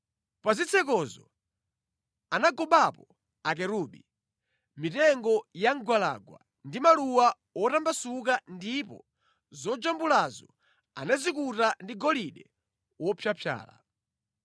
Pa zitsekozo anagobapo akerubi, mitengo ya mgwalangwa ndi maluwa wotambasuka ndipo zojambulazo anazikuta ndi golide wopyapyala.